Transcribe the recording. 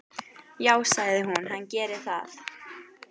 Já, sagði hún, hann gerir það.